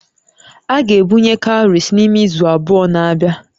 A ga-ebunye cowries n'ime izu abụọ na-abịa